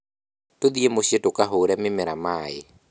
Tũthiĩ mũciĩ tũkahũre mĩmera maaĩ